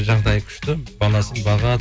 жағдайы күшті баласын бағады